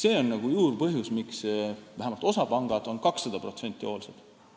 See on juurpõhjus, miks vähemalt osa pankadest on kakssada protsenti hoolsad.